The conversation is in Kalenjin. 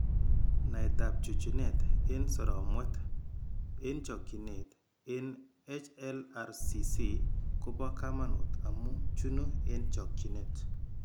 Naetab chununet eng' soromwet eng' chokchinet eng' HLRCC ko bo kamanut amu chunu eng' chokchinet.